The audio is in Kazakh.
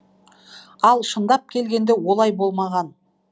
ал шындап келгенде олай болмаған